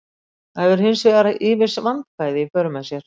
Það hefur hins vegar ýmis vandkvæði í för með sér.